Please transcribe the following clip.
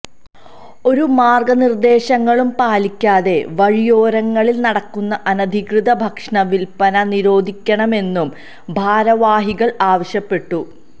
ഒരു മാര്ഗനിര്ദ്ദേശങ്ങളും പാലിക്കാതെ വഴിയോരങ്ങളില് നടക്കുന്ന അനധികൃത ഭക്ഷണവില്പ്പന നിരോധിക്കണമെന്നും ഭാരവാഹികള് ആവശ്യപ്പെട്ടു